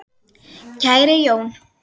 Kæri Jón.